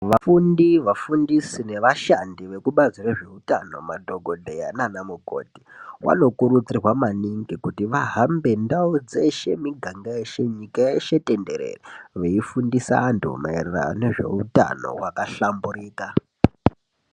Vafundi, vaafundisi nevashandi vekubazi rezveutano, madhogodheya nanamukoti vanokurudzirwa maningi kuti vahambe ndau dzeshe nemiganga yeshe nyika yeshe tenderere veifundisa vantu maererano nezveutano hwakahlamburika.